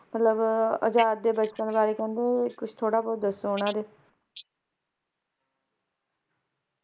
ਮਤਲਬ ਆਜ਼ਾਦ ਦੇ ਬਚਪਨ ਬਾਰੇ ਕਹਿੰਦੇ ਵੀ ਕੁਛ ਥੋੜਾ ਬਹੁਤ ਦਸੋਂ ਓਹਨਾ ਦੇ